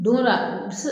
Don go don a bi se